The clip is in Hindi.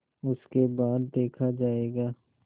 उसके बाद देखा जायगा